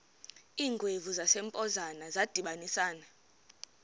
iingwevu zasempoza zadibanisana